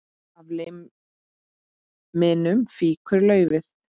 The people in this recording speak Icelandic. Af liminu fýkur laufið.